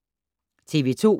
TV 2